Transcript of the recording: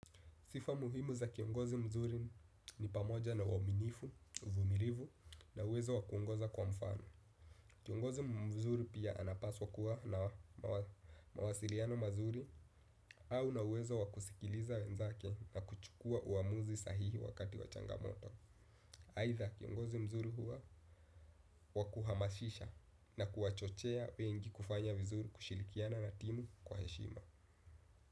Sifa muhimu za kiongozi mzuri ni pamoja na uaminifu, vumilivu na uwezo wa kuongoza kwa mfano. Kiongozi mzuri pia anapaswa kuwa na mawasiliano mazuri au na uwezo wa kusikiliza wenzake na kuchukua uamuzi sahihi wakati wa changamoto. Haitha kiongozi mzuri huwa wakuhamashisha na kuwachochea wengi kufanya vizuri kushilikiana na timu kwa heshima.